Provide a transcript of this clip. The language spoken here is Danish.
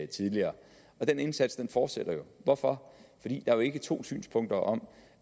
tidligere og den indsats fortsætter jo hvorfor fordi der jo ikke er to synspunkter om